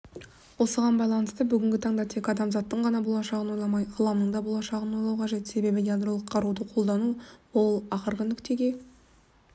осыған байланысты бүгін таңда тек адамзаттың ғана болашағын ойламай ғаламның да болашағын ойлау қажет себебі ядролық қаруды қолану ол ақырғы нүктеге